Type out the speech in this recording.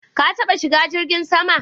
Ka taɓa shiga jirgin sama?